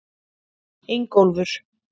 Ingólfur